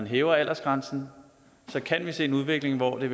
hæver aldersgrænsen kan vi se en udvikling hvor det